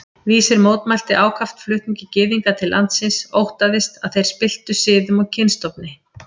Vísir mótmælti ákaft flutningi Gyðinga til landsins, óttaðist, að þeir spilltu siðum og kynstofni